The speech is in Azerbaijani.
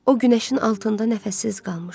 O günəşin altında nəfəssiz qalmışdı.